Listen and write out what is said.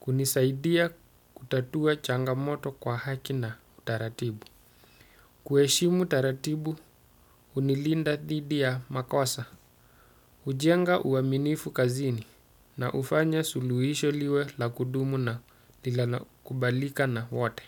Kunisaidia kutatua changamoto kwa haki na taratibu. Kueshimu taratibu unilinda thidi ya makosa. Ujenga uaminifu kazini na ufanya suluhisho liwe la kudumu na lilanakubalika na wote.